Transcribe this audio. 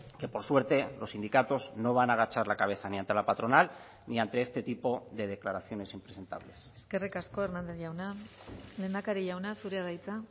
que por suerte los sindicatos no van a agachar la cabeza ni ante la patronal ni ante este tipo de declaraciones impresentables eskerrik asko hernández jauna lehendakari jauna zurea da hitza